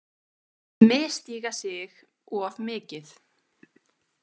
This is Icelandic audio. Misstíga sig of mikið.